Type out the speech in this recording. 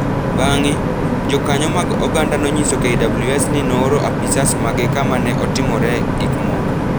Bang’e, jokanyo mag oganda nonyiso KWS ni nooro apisas mage kama ne otimoree gik moko,